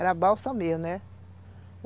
Era balsa mesmo, né?